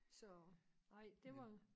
Så nej det var